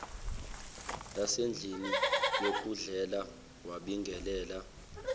lasendlini yokudlela wabingelela